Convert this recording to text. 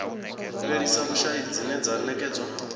fhelisa vhushai dzine dza ṅekedza